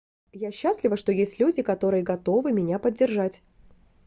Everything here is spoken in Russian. я счастлива что есть люди которые готовы меня поддержать